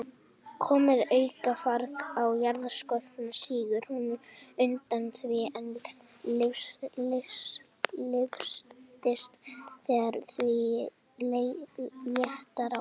Komi aukafarg á jarðskorpuna, sígur hún undan því, en lyftist þegar því léttir af.